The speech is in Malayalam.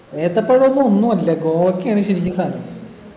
ഏത്തപ്പഴൊന്നും ഒന്നു അല്ല ഗോവക്കെയാണ് ശരിക്കും സാനം